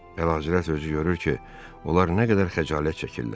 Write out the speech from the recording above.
Əlahəzrət özü görür ki, onlar nə qədər xəcalət çəkirlər.